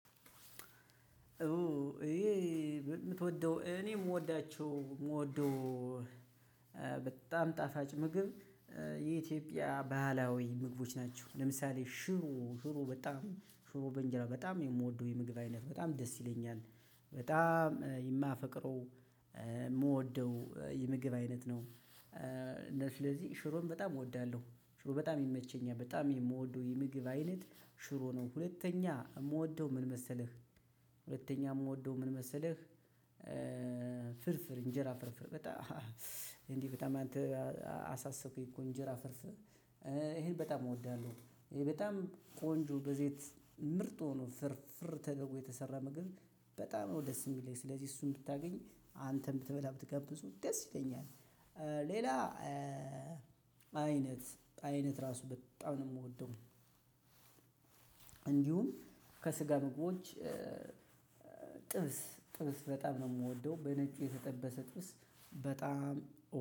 የምትወደው እኔ የምወዳቸው የምወደው በጣም ጣፋጭ ምግብ የኢትዮጵያ ባህላዊ ምግቦች ናቸው። ለምሳሌ ሽሮ ሽሮ በጣም ሽሮ በእንጀራ በጣም የምወደው የምግብ አይነት በጣም ደስ ይለኛል። በጣም የማፈቅረው የምወደው የምግብ አይነት ነው። ስለዚህ ሽሮም በጣም እወዳለሁ ሽሮ በጣም የሚመቸኝ በጣም የምወደው የምግብ አይነት ሽሮ ነው ሁለተኛ የምወደው ምን መሰለህ ሁለተኛ የምወደው ምን መሰለህ? ፍርፍር እንጀራ ፍርፍር በጣም እንዲህ በጣም አንተ አሳሰብከኝ እንጀራ ፍርፍር ይህን በጣም እወዳለሁ። ቆንጆ በዘይት ምርጥ ሁኖ ፍርፍር ተደርጎ የተሰራ ምግብ በጣም ነው ደስ የሚለኝ። ስለዚህ እሱን ብታገኝ አንተም ብትበላ ብትጋብዙኝ ደስ ይለኛል። ሌላ አይነት አይነት ራሱ በጣም ነው የምወደው። እንዲሁም ከስጋ ምግቦች ጥብስ ጥብስ በጣም ነው የምወደው። በነጩ የተጠበሰ ጥብስ በጣም